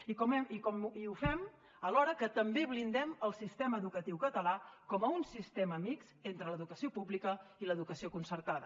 i ho fem alhora que també blindem el sistema educatiu català com un sistema mixt entre l’educació pública i l’educació concertada